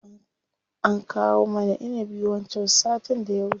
An kawo mana inibi wancan sattin da ya wuce.